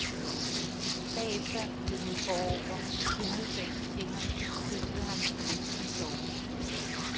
Bagefter gled hun forover, klyngede sig ind til ham, kyssede ham, næsten sovende.